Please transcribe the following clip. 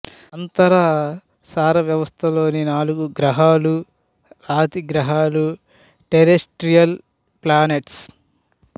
అంతర సౌర వ్యవస్థలోని నాలుగు గ్రహాలు రాతి గ్రహాలు టెరెస్ట్రియల్ ప్లానెట్స్